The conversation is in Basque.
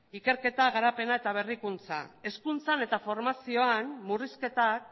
ikerketa garapena eta berrikuntza hezkuntzan eta formazioan murrizketak